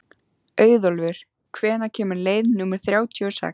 Auðólfur, hvenær kemur leið númer þrjátíu og sex?